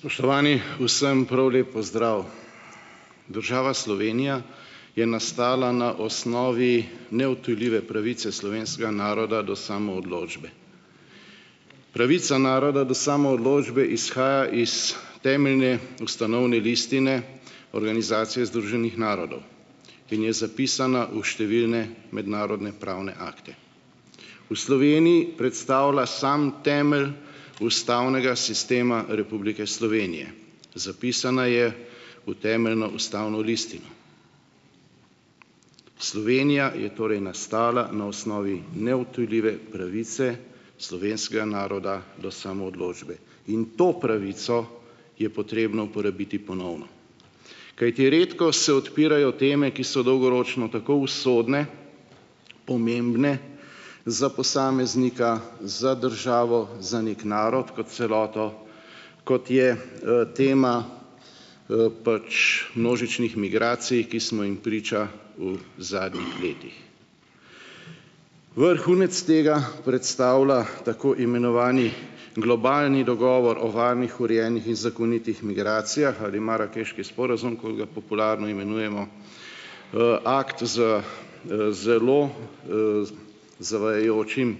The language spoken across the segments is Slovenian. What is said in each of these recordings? Spoštovani, vsem prav lep pozdrav. Država Slovenija je nastala na osnovi neodtujljive pravice slovenskega naroda do samoodločbe. Pravica naroda do samoodločbe izhaja iz Temeljne ustanovne listine Organizacije združenih narodov in je zapisana v številne mednarodne pravne akte. V Sloveniji predstavlja sam temelj ustavnega sistema Republike Slovenije. Zapisana je v Temeljno ustavno listino. Slovenija je torej nastala na osnovi neodtujljive pravice slovenskega naroda do samoodločbe. In to pravico je potrebno uporabiti ponovno. Kajti redko se odpirajo teme, ki so dolgoročno tako usodne, pomembne za posameznika, za državo, za nek narod kot celoto, kot je tema pač množičnih migracij, ki smo jim priča v zadnjih letih. Vrhunec tega predstavlja tako imenovani Globalni dogovor o varnih, urejenih in zakonitih migracijah ali Marakeški sporazum, kot ga popularno imenujemo, akt z zelo zavajajočim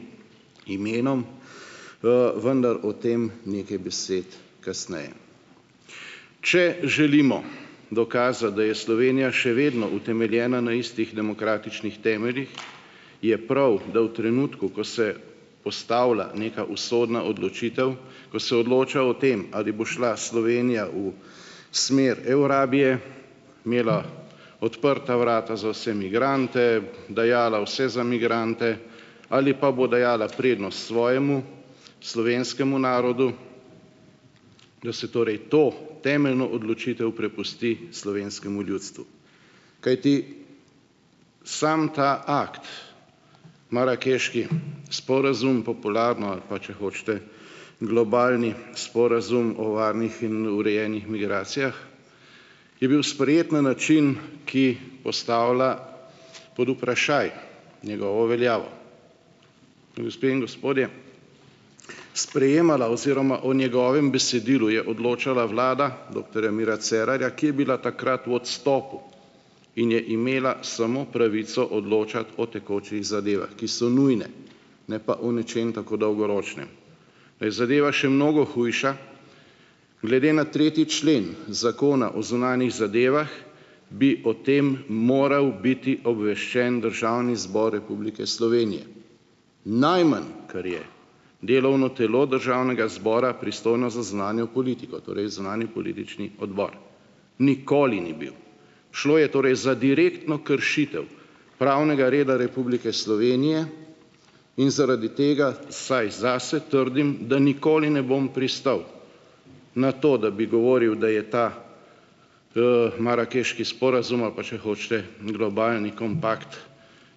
imenom, vendar o tem nekaj besed kasneje. Če želimo dokazati, da je Slovenija še vedno utemeljena na istih demokratičnih temeljih, je prav, da v trenutku, ko se postavlja neka usodna odločitev, ko se odloča o tem, ali bo šla Slovenija v smer Eurabije, imela odprta vrata za vse migrante, dajala vse za migrante ali pa bo dajala prednost svojemu, slovenskemu narodu, da se torej to temeljno odločitev prepusti slovenskemu ljudstvu. Kajti samo ta akt, Marakeški sporazum popularno ali pa, če hočete, globalni sporazum o varnih in urejenih migracijah je bil sprejet na način, ki postavlja pod vprašaj njegovo veljavo. Gospe in gospodje, sprejemala oziroma o njegovem besedilu je odločala vlada doktorja Mira Cerarja, ki je bila takrat vodstvo in je imela samo pravico odločati o tekočih zadevah, ki so nujne, ne pa o nečem tako dolgoročnem. Da je zadeva še mnogo hujša, glede na tretji člen Zakona o zunanjih zadevah, bi o tem moral biti obveščen Državni zbor Republike Slovenije, najmanj, kar je, delovno telo Državnega zbora, pristojno za zunanjo politiko, torej zunanji politični odbor. Nikoli ni bil! Šlo je torej za direktno kršitev pravnega reda Republike Slovenije in zaradi tega, vsaj zase trdim, da nikoli ne bom pristal na to, da bi govoril, da je ta Marakeški sporazum, ali pa če hočete, Globalni kompakt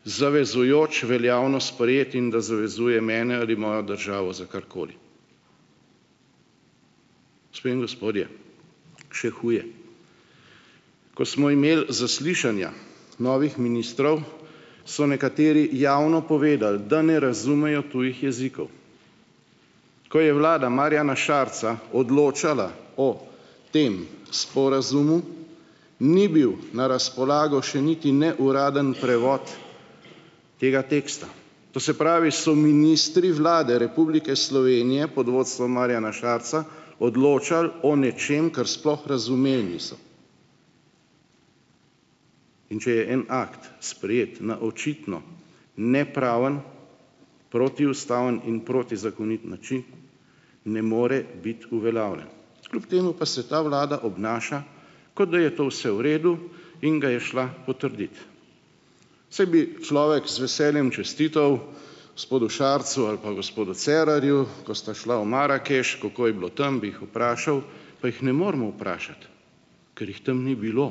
zavezujoč, veljavno sprejet in da zavezuje mene ali mojo državo za karkoli. Gospe in gospodje, še huje. Ko smo imeli zaslišanja novih ministrov, so nekateri javno povedali, da ne razumejo tujih jezikov. Ko je vlada Marjana Šarca odločala o tem sporazumu, ni bil na razpolago še niti ne uradni prevod tega teksta. To se pravi so ministri Vlade Republike Slovenije pod vodstvom Marjana Šarca odločali o nečem, kar sploh razumeli niso. In če je en akt sprejet na očitno nepraven, protiustaven in protizakonit ne more biti uveljavljen. Kljub temu pa se ta Vlada obnaša, kot da je to vse v redu, in ga je šla potrdit. Saj bi človek s veseljem čestital gospodu Šarcu ali pa gospodu Cerarju, ko sta šla v Marakeš, kako je bilo tam, bi jih vprašal, pa jih ne moremo vprašati, ker jih tam ni bilo.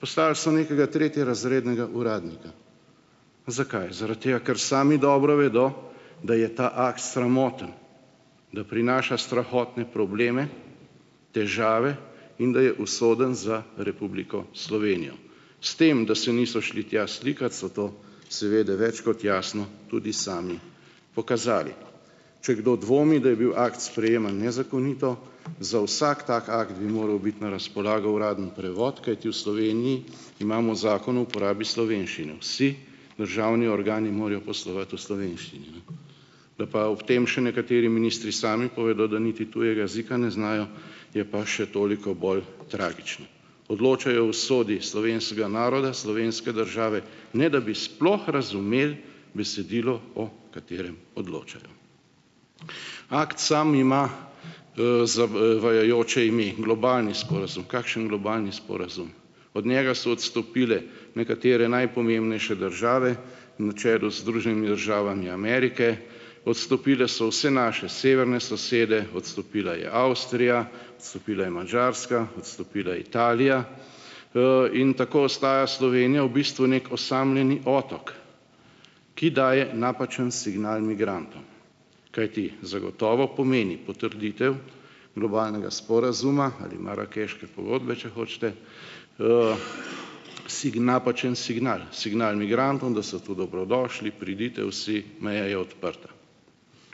Poslali so nekega tretjerazrednega uradnika. Zakaj? Zaradi tega, ker sami dobro vedo, da je ta akt sramoten, da prinaša strahotne probleme, težave, in da je usoden za Republiko Slovenijo. S tem, da se niso šli tja slikat, so to seveda več kot jasno tudi sami pokazali. Če kdo dvomi, da je bil akt sprejeman nezakonito, za vsak tak akt bi moral biti na razpolago uradni prevod, kajti v Sloveniji imamo Zakon o uporabi slovenščine. Vsi državni organi morajo poslovati v slovenščini, ne. Da pa ob tem še nekateri ministri sami povedali, da niti tujega ne znajo, je pa še toliko bolj tragično. Odločajo o usodi slovenskega naroda, slovenske države, ne da bi sploh razumeli besedilo, o katerem odločajo. Akt samo ima ime - globalni sporazum. Kakšen globalni sporazum? Od njega so odstopile nekatere najpomembnejše države, na čelu s Združenimi državami Amerike, odstopile so vse naše severne sosede, odstopila je Avstrija, odstopila je Madžarska, odstopila je Italija, in tako ostaja Slovenija v bistvu neki osamljeni otok, ki daje napačen signal migrantom. Kajti zagotovo pomeni potrditev globalnega sporazuma ali Marakeške pogodbe, če hočete, napačen signal, signal migrantom, da so tu dobrodošli: Pridite vsi, meja je odprta.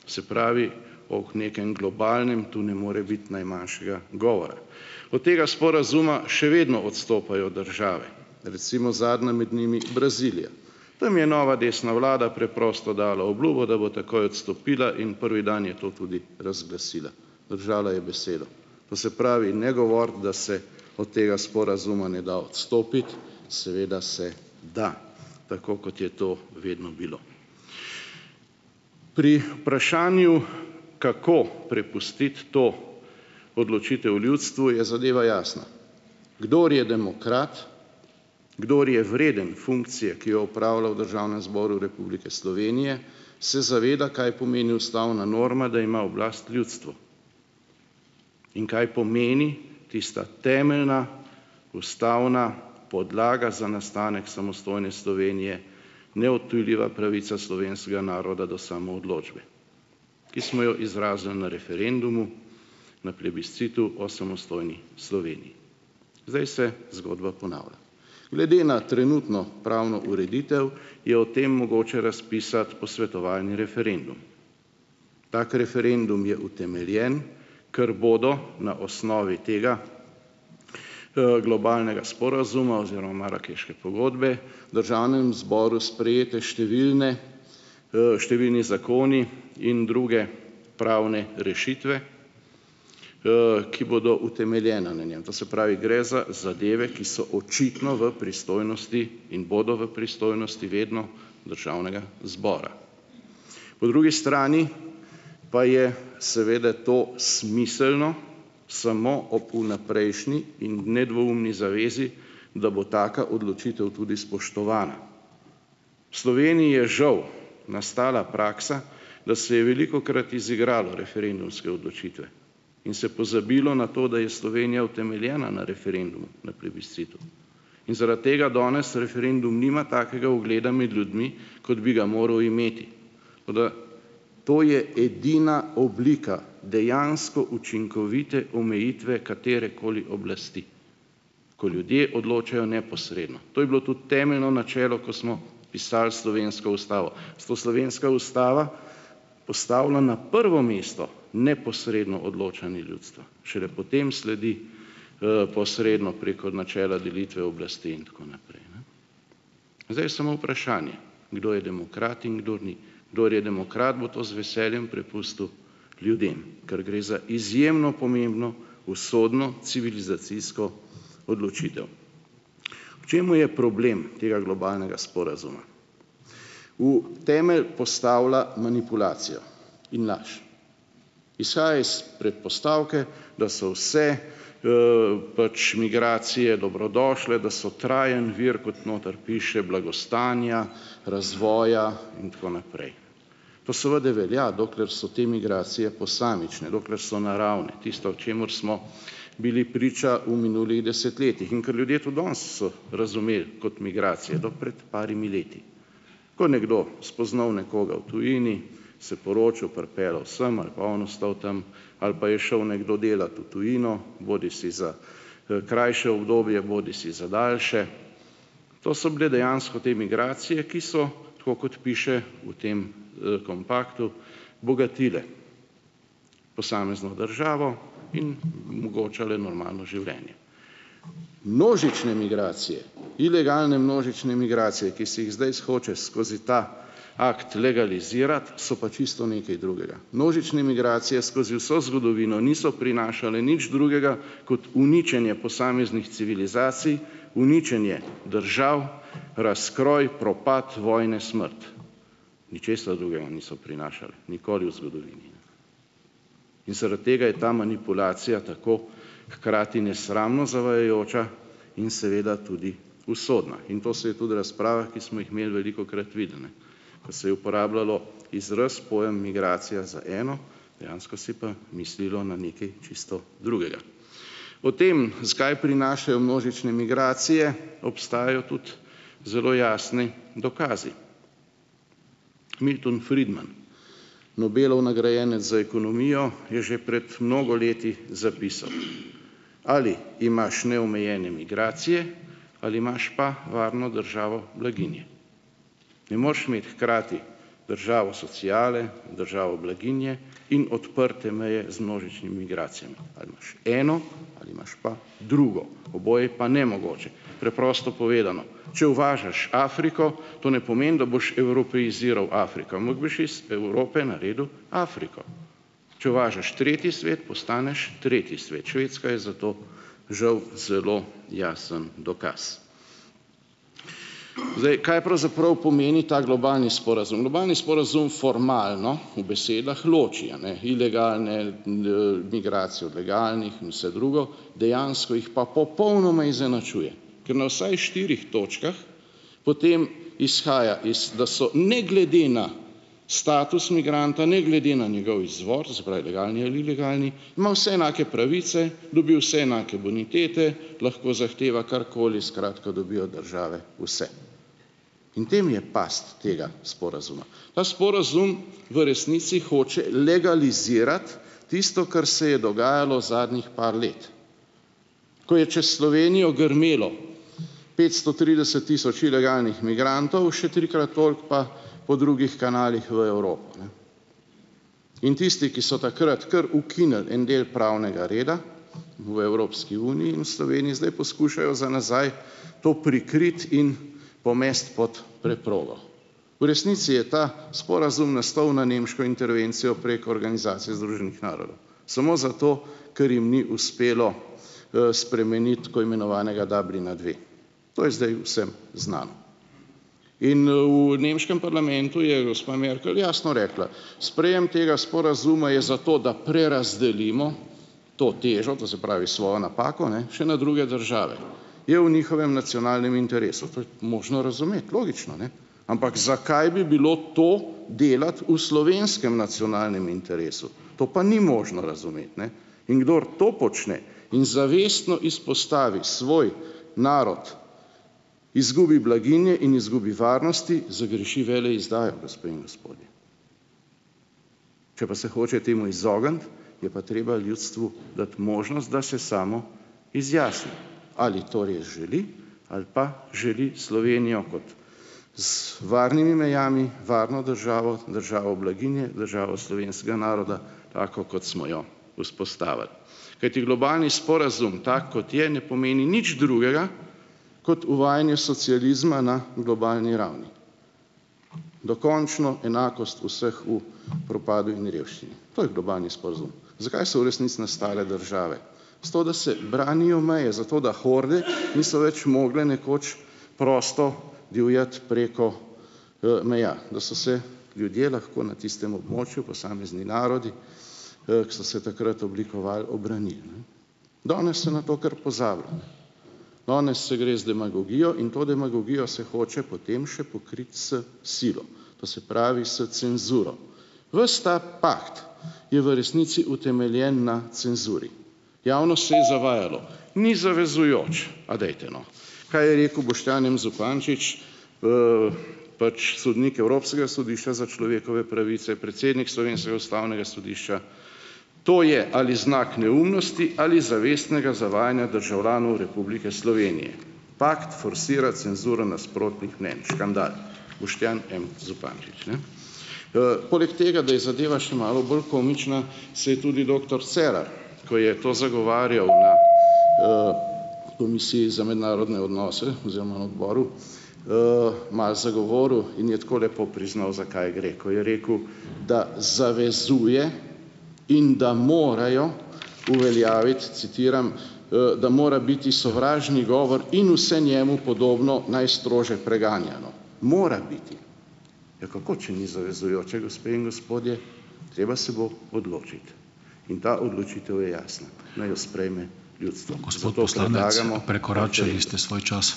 Se pravi ob nekem globalnem, to ne more biti najmanjšega govora. Od tega sporazuma še vedno odstopajo države, recimo zadnja med njimi Brazilija. Tam je nova desna vlada preprosto dala obljubo, da bo takoj odstopila, in prvi dan je to tudi razglasila. Držala je besedo. To se pravi, ne govoriti, da se od tega sporazuma ne da odstopiti, seveda se da. Tako kot je to vedno bilo. Pri vprašanju, kako prepustiti to odločitev ljudstvu, je zadeva jasna. Kdor je demokrat, kdor je vreden funkcije, ki jo opravlja v Državnem zboru Republike Slovenije, se zaveda, kaj pomeni ustavna norma, da ima oblast ljudstvo. In kaj pomeni tista temeljna ustavna podlaga za nastanek samostojne Slovenije, neodtujljiva pravica slovenskega naroda do samoodločbe, ki smo jo izrazili na referendumu, na plebiscitu o samostojni Sloveniji. Zdaj se zgodba ponavlja. Glede na trenutno pravno ureditev je o tem mogoče razpisati posvetovalni referendum. Tak referendum je utemeljen, kar bodo na osnovi tega globalnega sporazuma oziroma Marakeške pogodbe Državnem zboru sprejete številne številni zakoni in druge pravne rešitve, ki bodo utemeljena . To se pravi, gre za zadeve, ki so očitno v pristojnosti in bodo v pristojnosti vedno Državnega zbora. Po drugi strani pa je seveda to smiselno samo ob vnaprejšnji in nedvoumni zavezi, da bo taka odločitev tudi spoštovana. Sloveniji je žal nastala praksa, da se je velikokrat izigralo referendumske odločitve in se pozabilo na to, da je Slovenija utemeljena na referendumu, na plebiscitu. In zaradi tega danes referendum nima takega ugleda med ljudmi, kot bi ga moral imeti. Toda to je edina oblika dejansko učinkovite omejitve katerekoli oblasti. Ko ljudje odločajo neposredno. To je bilo tudi temeljno načelo, ko smo pisali slovensko ustavo. Zato slovenska ustava postavila na prvo mesto neposredno odločanje ljudstva. Šele potem sledi posredno preko načela delitve oblasti in tako naprej, ne. Zdaj je samo vprašanje, kdo je demokrat in kdo ni. Kdor je demokrat, bo to z veseljem prepustil ljudem. Ker gre za izjemno pomembno, usodno civilizacijsko odločitev. V čem je problem tega globalnega sporazuma? V temelj postavlja manipulacijo in laž. Izhaja iz predpostavke, da so vse pač migracije dobrodošle, da so trajen vir, kot notri piše, blagostanja, razvoja in tako naprej. To seveda velja, dokler so te migracije posamične, dokler so naravne. Tisto, o čemer smo bili priča v minulih desetletjih in kar ljudje tudi danes so razumeli kot migracije, do pred par leti. Ko nekdo spoznal nekoga v tujini, se poročil, pripeljal sem ali pa on ostal tam ali pa je šel nekdo delat v tujino, bodisi za krajše obdobje, bodisi za daljše. To so bile dejansko te migracije, ki so, tako kot piše v tem kompaktu, bogatile posamezno državo in omogočale normalno življenje. Množične migracije, ilegalne množične migracije, ki si jih zdaj hoče skozi ta akt legalizirati, so pa čisto nekaj drugega. Množične migracije skozi vso zgodovino niso prinašale nič drugega kot uničenje posameznih civilizacij, uničenje držav, razkroj, propad, vojne, smrt. Ničesar drugega niso prinašale, nikoli v zgodovini. Zaradi tega je ta manipulacija tako hkrati nesramno zavajajoča in seveda tudi usodna. In to se je tudi razpravah, ki smo jih imeli, velikokrat videlo, ne. Se je uporabljalo izraz, pojem migracija za eno, dejansko se je pa mislilo na nekaj čisto drugega. O tem, zakaj prinašajo množične migracije, obstajajo tudi zelo jasni dokazi. Milton Friedman, Nobelov nagrajenec za ekonomijo, je že prej mnogo leti zapisal: "Ali imaš neomejene migracije ali imaš pa varno državo blaginje." Ne moraš imeti hkrati državo sociale, državo blaginje in odprte meje z množičnimi migracijami, a veš. Eno ali imaš pa drugo. Oboje pa nemogoče. Preprosto povedano - če uvažaš Afriko, to ne pomeni, da boš evropeiziral Afriko, boš iz iz Evrope naredil Afriko. Če uvažaš tretji svet postaneš tretji svet, Švedska je za to žal zelo jasen dokaz. Zdaj, kaj pravzaprav pomeni ta globalni sporazum? Globalni sporazum formalno, v besedah, loči, a ne, ilegalne migracije od legalnih in vse drugo, dejansko jih pa popolnoma izenačuje, ker na vsaj štirih točkah potem izhaja iz, da so ne glede na status migranta, ne glede na njegov izvor, se pravi legalni ali ilegalni, ima vse enake pravice, dobi vse enake bonitete, lahko zahteva karkoli, skratka dobi od države vse. In v tem je past tega sporazuma. Ta sporazum v resnici hoče legalizirati tisto, kar se je dogajalo zadnjih par let. Ko je čez Slovenijo grmelo petsto trideset tisoč ilegalnih migrantov, še trikrat toliko pa po drugih kanalih v Evropi, ne. In tisti, ki so takrat kar ukinili en del pravnega reda v Evropski uniji in v Sloveniji, zdaj poskušajo za nazaj to prikriti in pomesti pod preprogo. V resnici je ta sporazum nastal na nemško intervencijo prek Organizacije združenih narodov samo zato, ker jim ni uspelo spremeniti tako imenovanega Dublina dve. To je zdaj vsem znano. In v nemškem parlamentu je gospa Merkel jasno rekla: "Sprejem tega sporazuma je za to, da prerazdelimo to težo, to se pravi svojo napako, ne, še na druge države. Je v njihovem nacionalnem interesu. To je tudi možno razumeti, logično, ne. Ampak zakaj bi bilo to delati v slovenskem nacionalnem interesu? To pa ni možno razumeti, ne? In kdor to počne in zavestno izpostavi svoj narod, izgubi blaginje in izgubi varnosti, zagreši veleizdajo, gospe in gospodje. Če pa se hoče temu izogniti, je pa treba ljudstvu dati možnost, da se samo izjasni. Ali torej želi ali pa želi Slovenijo kot s z varnimi mejami, varno državo, državo blaginje, državo slovenskega naroda, tako kot smo jo vzpostavili. Kajti globalni sporazum, tak kot je, ne pomeni nič drugega kot uvajanje socializma na globalni ravni. Dokončno enakost vseh v propadu in revščini. To je globalni sporazum. Zakaj so v resnici nastale države? Zato, da se branijo meje, zato, da horde niso več mogle nekoč prosto divjati preko meja. Da so se ljudje lahko na tistem območju, posamezni narodi, ki so se takrat oblikovali, obranili. Danes se na to kar pozabi. Danes se gre z demagogijo in to demagogijo se hoče potem še pokriti s silo. To se pravi s cenzuro. Ves ta pakt je v resnici utemeljen na cenzuri. Javnost se je zavajalo. Ni zavezujoč, a dajte no. Kaj je rekel Boštjan M. Zupančič, pač sodnik Evropskega sodišča za človekove pravice, predsednik Slovenskega ustavnega sodišča, to je ali znak neumnosti ali zavestnega zavajanja državljanov Republike Slovenije. Pakt forsira cenzuro nasprotnih mnenj, škandal. Boštjan M. Zupančič, ne. poleg tega, da je zadeva še malo bolj komična, se je tudi doktor Cerar, ko je to zagovarjal na komisiji za mednarodne odnose oziroma na odboru, malo zagovoril in je takole lepo priznal, za kaj gre, ko je rekel, da zavezuje in da morajo uveljaviti, citiram: da mora biti sovražni govor in vse njemu podobno najstrožje preganjeno." Mora biti. Ja, kako, če ni zavezujoče, gospe in gospodje. Treba se bo odločiti. In ta odločitev je jasna, naj jo sprejme ljudstvo , zato predlagamo ... Prekoračili ste svoj čas.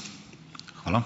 Hvala.